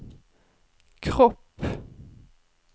kropp